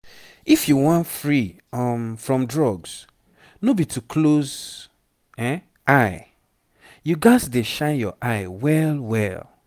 if you wan free um from drugs no be to close eye. you gats dey shine your eye well well